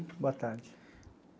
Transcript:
Boa tarde.